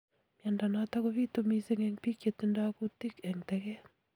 Miondo notok kobitu misiing eng biik chetindoy kutik eng tekeet